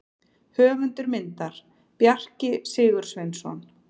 Höfundur myndar: Bjarki Sigursveinsson.